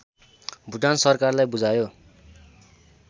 भुटान सरकालाई बुझायो